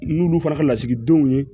N'olu fana ka lasigidenw ye